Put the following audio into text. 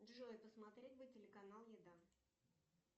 джой посмотреть бы телеканал еда